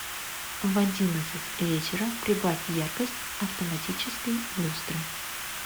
в одиннадцать вечера прибавь яркость автоматической люстры